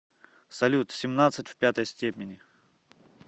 салют семнадцать в пятой степени